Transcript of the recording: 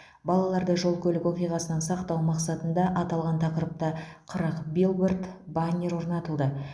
балаларды жол көлік оқиғасынан сақтау мақсатында аталған тақырыпта қырық билборд баннер орнатылды